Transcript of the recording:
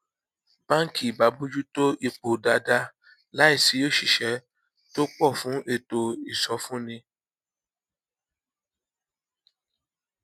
báńkì ì bá bójú tó ipò dáadáa láìsí òṣìṣẹ tó pọ fún ètò ìsọfúnni